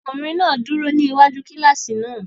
Ọkunrin náà duro ni iwaju kilasi náà